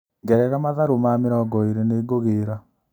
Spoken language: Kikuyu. Ngerera matharũ ma mĩringo ĩrĩ nĩngũgĩra.